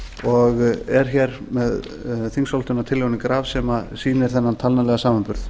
og er hér með þingsályktunartillögunni graf sem sýnir þennan talnalega samanburð